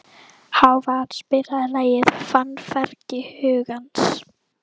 Hávarr, spilaðu lagið „Fannfergi hugans“.